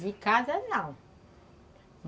De casa, de casa não.